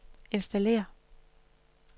installér